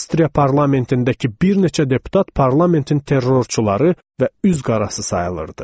Avstriya parlamentindəki bir neçə deputat parlamentin terrorçuları və üzqarası sayılırdı.